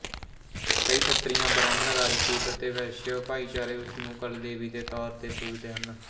ਕਈ ਖੱਤਰੀਆਂ ਬ੍ਰਾਹਮਣ ਰਾਜਪੂਤ ਅਤੇ ਵੈਸ਼ਯ ਭਾਈਚਾਰੇ ਉਸ ਨੂੰ ਕੁਲਦੇਵੀ ਦੇ ਤੌਰ ਤੇ ਪੁੱਜਦੇ ਹਨ